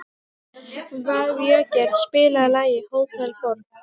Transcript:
Végeir, spilaðu lagið „Hótel Borg“.